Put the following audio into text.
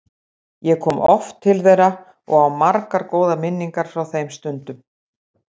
Ég kom oft til þeirra og á margar góðar minningar frá þeim stundum.